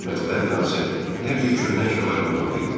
Mətbəə binası hər cür köhnə əşyalarla dolu idi.